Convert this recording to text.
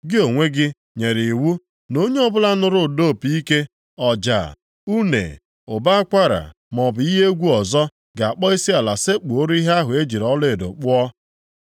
Gị, onwe gị nyere iwu, na onye ọbụla nụrụ ụda opi ike, ọja, une, ụbọ akwara maọbụ ihe egwu ọzọ ga-akpọ isiala sekpuoro ihe ahụ e ji ọlaedo kpụọ,